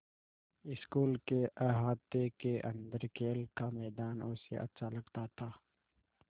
school के अहाते के अन्दर खेल का मैदान उसे अच्छा लगता था